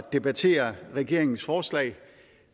debattere regeringens forslag